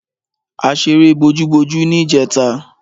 A ṣeré bojúbojú ní ìjẹta.